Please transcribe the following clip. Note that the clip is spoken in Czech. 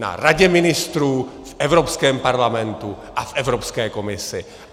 Na Radě ministrů, v Evropském parlamentu a v Evropské komisi.